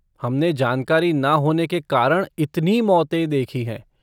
हमने जानकारी ना होने के कारण इतनी मौतें देखी हैं।